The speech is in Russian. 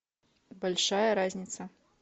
большая разница